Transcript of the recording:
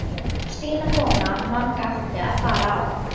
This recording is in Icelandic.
Stína kona Manga átti að fara á